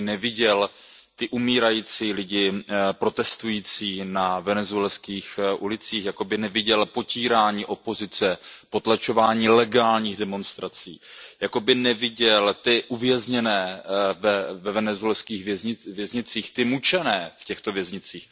Jakoby neviděl ty umírající lidi protestující na venezuelských ulicích, jakoby neviděl potírání opozice, potlačování legálních demonstrací, jakoby neviděl ty uvězněné ve venezuelských věznicích, ty mučené v těchto věznicích.